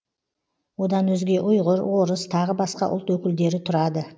одан өзге ұйғыр орыс тағы басқа ұлт өкілдері тұрады